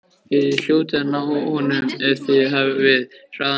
Þið hljótið að ná honum ef þið hafið hraðan á.